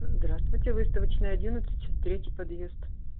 здравствуйте выставочная одиннадцать третий подъезд